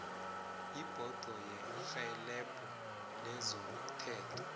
ibhodo yerhelebho lezomthetho